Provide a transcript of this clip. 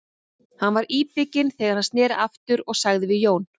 Hann var íbygginn þegar hann sneri aftur og sagði við Jón